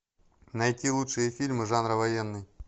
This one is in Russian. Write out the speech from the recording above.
найти лучшие фильмы жанра военный